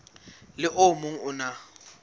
le o mong o na